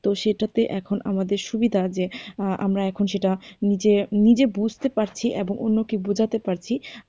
তো সেটাতে এখন আমাদের সুবিধা যে আমরা এখন সেটা নিজে নিজে বুঝতে পারছি এবং অন্যকে বোঝাতে পারছি।